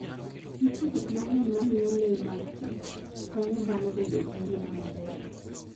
Nitie gik mang'eny mamiyo le mag Kich konyo dhano bedo gi ngima maber.